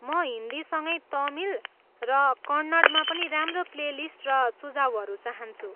म हिन्दीसँगै तमिल र कन्नडमा पनि राम्रो प्लेलिस्ट र सुझावहरू चाहन्छु।